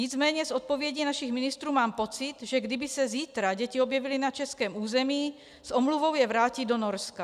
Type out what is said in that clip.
Nicméně z odpovědí našich ministrů mám pocit, že kdyby se zítra děti objevily na českém území, s omluvou je vrátí do Norska.